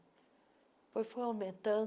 foi aumentando.